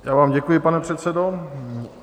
Já vám děkuji, pane předsedo.